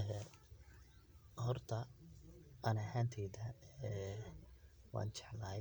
Ee horta ani ahanteyda ee wanjeclahay